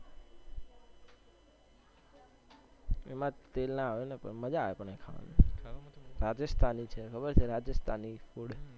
એમાં તેલ ના હોય ને પણ મજ્જજા આવે ખાવાની રાજેષ્ઠાની છે ખબર છે રાજેષ્ઠાની food